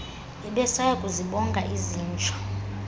bebesaya kuzibonga izinja